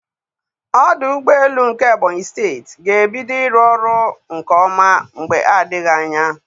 Ọdụ ụgbọ elu nke Ebonyị steeti ga-ebido ịrụ ọrụ nke ọma mgbe adịghị anya.